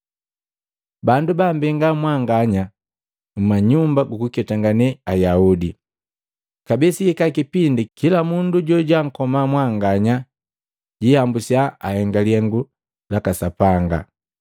Bandu bambenga mwanganya mma nyumba jukuketangane Ayaudi. Kabee sihika kipindi kila mundu jojwaankoma mwanganya jihambusiya anhenge lihengu Sapanga.